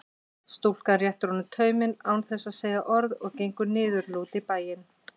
Stúlkan réttir honum tauminn án þess að segja orð og gengur niðurlút í bæinn.